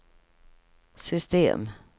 system